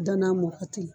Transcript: Danna mugan tigi